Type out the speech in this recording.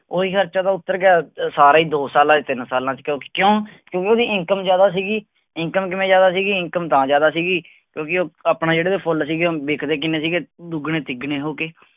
ਉਹੀ ਖ਼ਰਚਾ ਉਹਦਾ ਉੱਤਰ ਗਿਆ ਸਾਰਾ ਹੀ ਦੋ ਸਾਲਾਂ, ਤਿੰਨ ਸਾਲਾਂ ਚ ਕਿਉਂਕਿ ਕਿਉਂ ਕਿਉਂਕਿ ਉਹਦੀ income ਜ਼ਿਆਦਾ ਸੀਗੀ income ਕਿਵੇਂ ਜ਼ਿਆਦਾ ਸੀਗੀ income ਤਾਂ ਜ਼ਿਆਦਾ ਸੀਗੀ ਕਿਉਂਕਿ ਉਹ ਆਪਣੇ ਜਿਹੜੇ ਫੁੱਲ ਸੀਗੇ, ਵਿਕਦੇ ਕਿੰਨੇ ਸੀਗਾ ਦੁੱਗਣੇ ਤਿਗਣੇ ਹੋ ਕੇ,